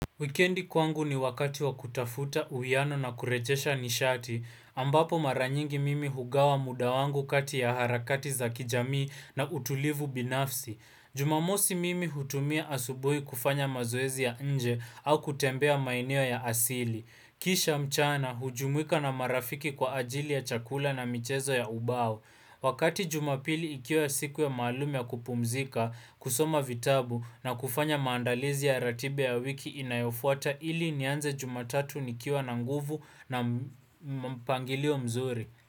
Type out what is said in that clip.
Wikendi kwangu ni wakati wa kutafuta uwiano na kurejesha nishati, ambapo maranyingi mimi hugawa mudawangu kati ya harakati za kijamii na utulivu binafsi. Jumamosi mimi hutumia asubui kufanya mazoezi ya nje au kutembea maeneo ya asili. Kisha mchana, hujumuika na marafiki kwa ajili ya chakula na michezo ya ubao. Wakati jumapili ikiwa siku ya maalum ya kupumzika, kusoma vitabu na kufanya maandalizi ya ratiba ya wiki inayofuata ili nianze jumatatu nikiwa na nguvu na mpangilio mzuri.